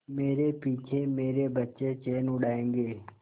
मेरे पीछे मेरे बच्चे चैन उड़ायेंगे